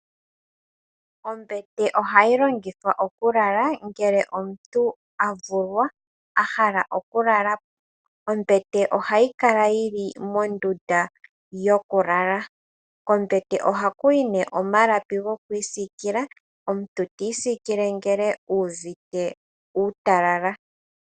Ombete oha yi longithwa okulala ngele omuntu a vulwa, a hala okulala po. Ombete ohayi kala yi li mondunda yokulala. Kombete oha ku yi nee omalapi gokwiisikila. Omuntu ta isikile ngele e uvite uutalala.